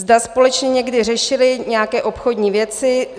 Zda společně někdy řešili nějaké obchodní věci.